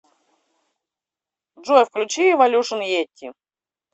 джой включи эволюшн йети